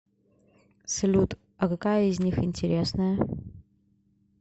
салют а какая из них интересная